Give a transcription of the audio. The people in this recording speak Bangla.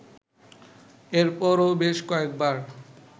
এরপরও বেশ কয়েকবার